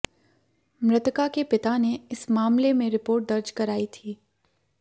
मृतका के पिता ने इस मामले रिपोर्ट दर्ज करायी थी